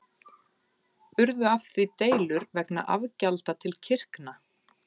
Urðu af því deilur vegna afgjalda til kirkna.